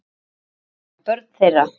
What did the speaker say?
Börn þeirra